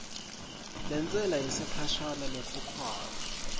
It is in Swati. lentsela yesikhashana lekhokhwako